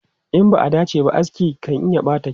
In ba a dace ba, aski kan iya ɓata kyau.